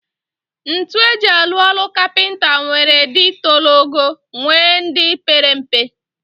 Ntu eji alu olu capenta nwere di tolog ogo nwee ndi pere mpe.